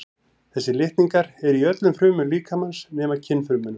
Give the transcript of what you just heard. Þessir litningar eru í öllum frumum líkamans nema kynfrumunum.